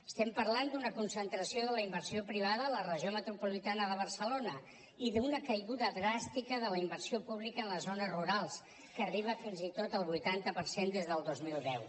estem parlant d’una concentració de la inversió privada a la regió metropolitana de barcelona i d’una caiguda dràstica de la inversió pública en les zones rurals que arriba fins i tot al vuitanta per cent des del dos mil deu